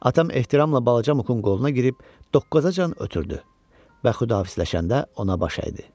Atam ehtiramla balaca Mukun qoluna girib doqqazacan ötürdü və xudahafisləşəndə ona baş əydi.